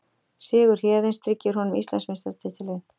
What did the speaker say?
Sigur Héðins tryggir honum Íslandsmeistaratitilinn